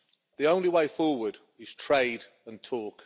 The only way forward is trade and talk.